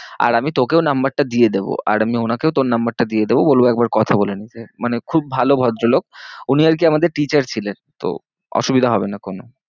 আর আমি তোকেও number টা দিয়ে দেবো। আর আমি ওনাকেও তোর number টা দিয়ে দেবো বলবো একবার কথা বলে নিতে। মানে খুব ভালো ভদ্রলোক উনি আর কি আমাদের teacher ছিলেন তো অসুবিধা হবে না কোনো।